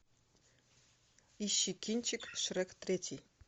ищи кинчик шрек третий